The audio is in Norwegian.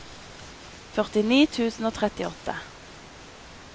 førtini tusen og trettiåtte